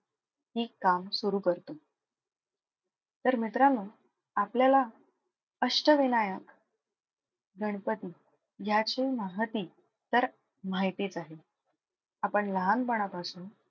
हि काम सुरु करतो. तर मित्रांनो आपल्याला अष्टविनायक गणपती याची महती तर माहितीच आहे. आपण लहानपणापासून,